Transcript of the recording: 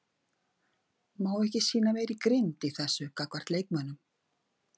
Má ekki sýna meiri grimmd í þessu gagnvart leikmönnum?